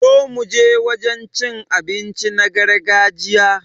Zo muje wajen cin abinci na gargajiya